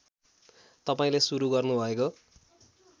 तपाईँले सुरु गर्नुभएको